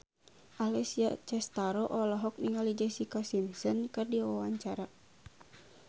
Alessia Cestaro olohok ningali Jessica Simpson keur diwawancara